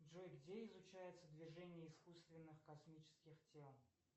джой где изучается движение искусственных космических тел